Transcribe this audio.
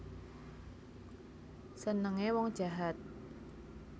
Senenge wong jahat